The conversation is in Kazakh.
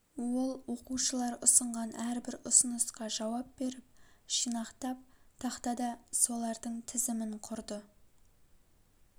ол оқушылар ұсынған әрбір ұсынысқа жауап беріп жинақтап тақтада солардың тізімін құрды